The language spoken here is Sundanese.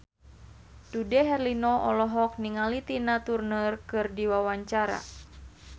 Dude Herlino olohok ningali Tina Turner keur diwawancara